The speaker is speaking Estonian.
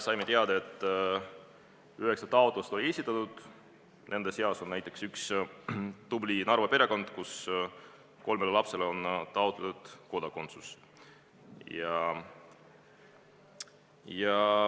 Saime teada, et üheksa taotlust on esitatud, nende seas on näiteks üks tubli Narva perekond, kelle kolmele lapsele on taotletud kodakondsust.